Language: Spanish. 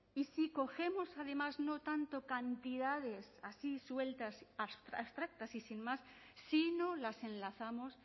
y si cogemos además no tanto cantidades así sueltas abstractas y sin más sino las enlazamos